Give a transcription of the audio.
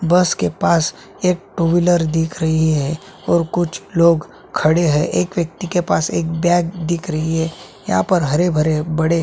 बस के पास एक टु विलर दिख रही है और कुछ लोग खड़े है एक व्यक्ति के पास एक बैग दिख रही है यहाँ पर हरे-भरे बड़े--